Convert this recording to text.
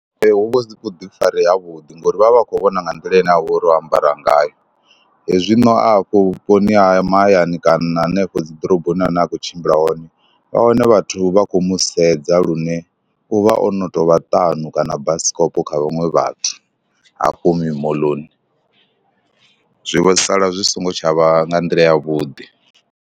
Ee hu vha hu si vhuḓifari havhuḓi ngori vha vha vha khou vhona nga nḓila ine ha vha uri o ambara ngayo, hezwino a hafho vhuponi ha mahayani kana hanefho dzi ḓoroboni ane a khou tshimbila hone, vha wane vhathu vha khou mu sedza lune u vha o no tou vha ṱanu kana basikopo kha vhaṅwe vhathu hafho mimoḽoni, zwi vho sala zwi songo tsha vha nga nḓila yavhuḓi.